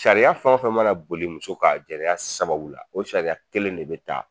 Sariya fɛn o fɛn mana boli muso kan a sariya sababu la, o sariya kelen de bɛ ta